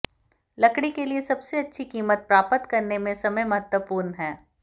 लकड़ी के लिए सबसे अच्छी कीमत प्राप्त करने में समय महत्वपूर्ण है